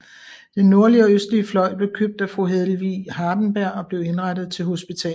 Den nordlige og østlige fløj blev købt af Fru Helvig Hardenberg og blev indrettet til hospital